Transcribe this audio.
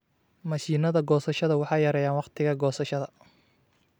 Mashiinnada goosashada waxay yareeyaan wakhtiga goosashada.